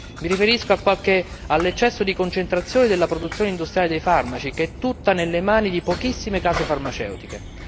Mi riferisco all'eccesso di concentrazione della produzione industriale dei farmaci, che è tutta nelle mani di pochissime case farmaceutiche.